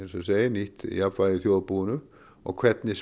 nýtt jafnvægi í þjóðarbúinu og hvernig